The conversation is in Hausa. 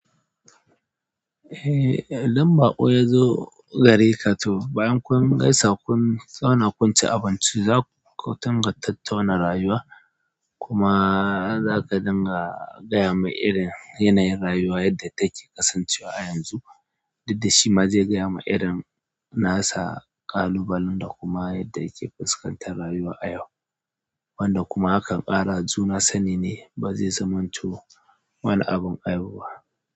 Eh, idan baƙo ya zo gare ka to bayan kun gaisa, kun tsauna, kun ci abinci, za ku tunga tattauna rayuwa. Kuma za ka dinga gaya mai irin yanayin rayuwa yadda take kasancewa a yanzu. Daddashi ma zai gaya ma irin nasa ƙalubalen da kuma yadda yake fuskantar rayuwa a yau. Wanda kuma hakan ƙara juna sani ne ba zai zamanto wani abin aibu ba.